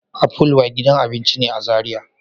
Apple White gidan abinci ne a Zaria.